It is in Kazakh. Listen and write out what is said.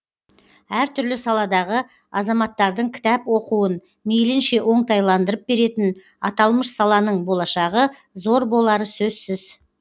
әр түрлі саладағы азаматтардың кітап оқуын мейлінше оңтайландырып беретін аталмыш саланың болашағы зор болары сөзсіз